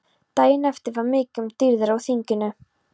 Daginn eftir var mikið um dýrðir á þinginu.